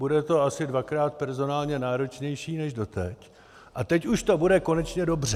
Bude to asi dvakrát personálně náročnější než dosud a teď už to bude konečně dobře.